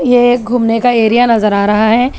ये एक घूमने का एरिया नजर आ रहा है।